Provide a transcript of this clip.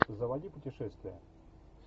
заводи путешествия